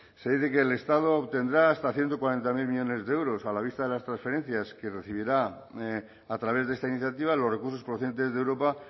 se dice que el estado obtendrá hasta ciento cuarenta mil millónes de euros a la vista de las transferencias que recibirá a través de esta iniciativa los recursos procedentes de europa